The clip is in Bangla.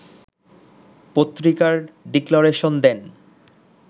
পত্রিকার ডিক্লারেশন দেন